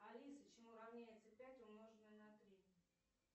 алиса чему равняется пять умноженное на три